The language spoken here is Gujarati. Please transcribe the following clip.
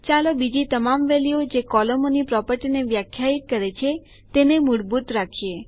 ચાલો બીજી તમામ વેલ્યુઓ જે કોલમોની પ્રોપર્ટીને વ્યાખ્યાયિત કરે છે તેને મૂળભૂત રાખીએ